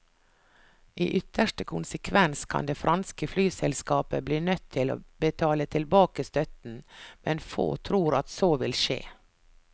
I ytterste konsekvens kan det franske flyselskapet bli nødt til å betale tilbake støtten, men få tror at så vil skje.